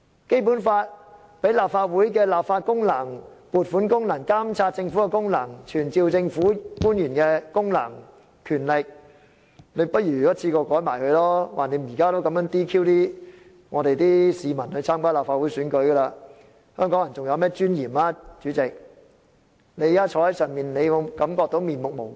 《基本法》賦予立法會立法功能，包括撥款功能、監察政府的功能、傳召政府官員的功能和權力，不如他也一次過一併修改吧，反正現在已經這樣 "DQ" 參加立法會選舉的市民了，試問香港人還有甚麼尊嚴呢，主席，你坐在上面的位置，會否感到面目無光？